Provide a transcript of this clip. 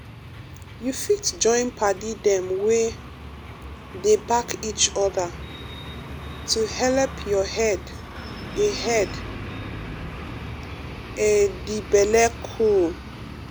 you fit join padi dem wey um dey back each other um to helep your head a head a d belle cool